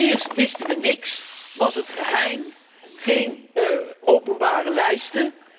Eerst wisten we niks, was het geheim, geen openbare lijsten.